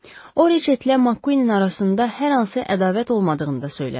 O Reçetlə Makkuinin arasında hər hansı ədavət olmadığını da söylədi.